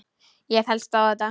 Ég fellst á þetta.